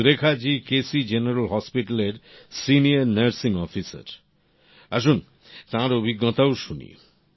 Surekha ji K C general হাসপাতাল এর senior nursing Officerআসুন তাঁর অভিজ্ঞতাও শুনি